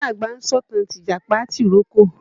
Ìyá àgbà ń sọ̀tàn tìjàpá tìrókò.